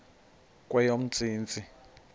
kweyomntsintsi